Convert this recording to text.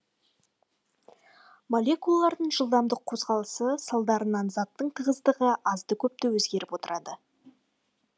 молекулалардың жылдамдық қозғалысы салдарынан заттың тығыздығы азды көпті өзгеріп отырады